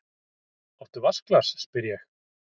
Áttu vatnsglas, spyr ég.